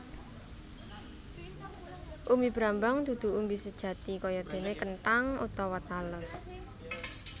Umbi brambang dudu umbi sejati kayadéné kenthang utawa tales